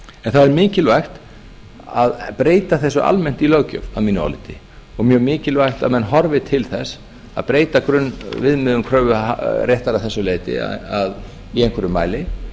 það er mikilvægt að bent þessu almennt í löggjöf að mínu áliti og mjög mikilvægt að menn horfi til þess að breyta grunnviðmiðum kröfuréttar að þessu leyti í einhverjum mæli